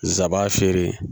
Nsab'a feere